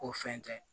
Ko fɛn tɛ